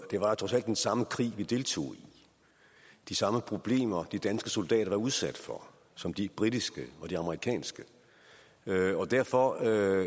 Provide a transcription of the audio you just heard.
det var trods alt den samme krig vi deltog i de samme problemer de danske soldater var udsat for som de britiske og de amerikanske og derfor